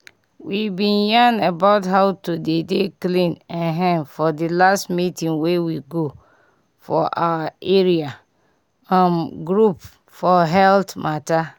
we bin yan about how to dey dey clean[um]for di last meeting wey we go for our area um group for health mata